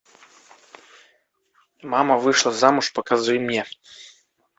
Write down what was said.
мама вышла замуж покажи мне